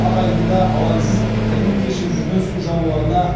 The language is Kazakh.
ақ айдында алаңсыз тірлік кешіп жүрген су жануарына